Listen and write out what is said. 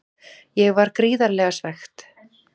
Ég var gríðarlega svekkt.